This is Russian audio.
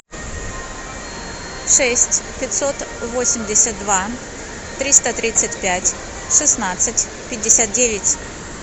шесть пятьсот восемьдесят два триста тридцать пять шестнадцать пятьдесят девять